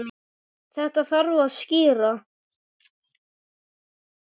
Þetta þarf að skýra.